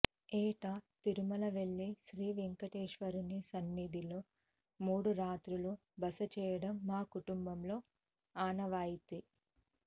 ఏటా తిరుమల వెళ్లి శ్రీవేంకటేశ్వరుని సన్నిధిలో మూడు రాత్రులు బస చేయడం మా కుటుంబంలో ఆనవాయితీ